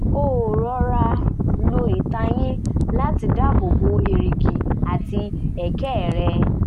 ó rọra lo ìtayín láti dábò bo èrìgì àti ẹ̀kẹ́ rẹ̀